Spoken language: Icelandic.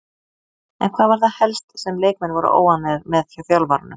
En hvað var það helst sem leikmenn voru óánægðir með hjá þjálfaranum?